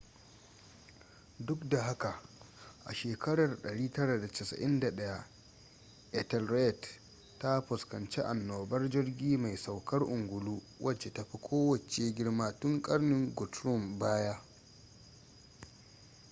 duk da haka a 991 ethelred ta fuskanci anobar jirgi mai saukar ungulu wace ta fi kowace girma tun karnin guthrum baya